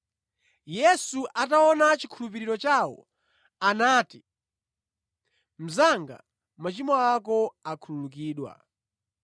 Yesu ataona chikhulupiriro chawo, anati, “Mnzanga, machimo ako akhululukidwa.”